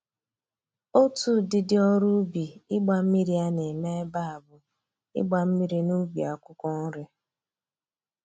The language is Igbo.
Otu ụdịdị ọrụ ubi igba mmiri a na-eme ebe a bụ ịgba mmiri n'ubi akwụkwọ nri